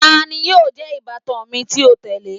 Tani yóò jẹ ibatan mi ti o tẹle?